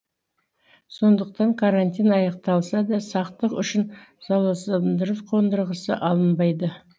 сондықтан карантин аяқталса да сақтық үшін залалсыздандыру қондырғысы алынбайды